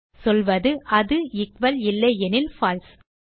சொல்வது அது எக்குவல் இல்லை எனில் பால்சே